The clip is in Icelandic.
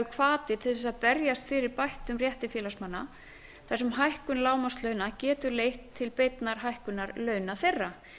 hvati til þess að berjast fyrir bættum rétti félagsmanna þar sem hækkun lágmarkslauna getur leitt til beinnar hækkunar launa þeirra